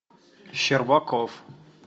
щербаков